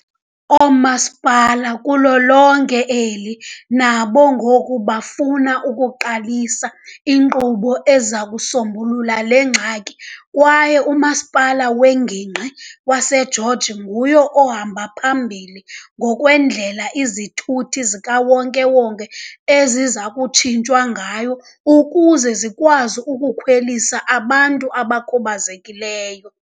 Oomasipala kulo lonke eli nabo ngoku bafuna ukuqalisa iinkqubo eziza kusombulula le ngxaki. Kwaye uMasipala weNgingqi waseGeorge nguye ohamba phambili ngokwendlela izithuthi zikawonke-wonke eziza kutshintshwa ngayo ukuze zikwazi ukukhwelisa abantu abakhubazekileyo.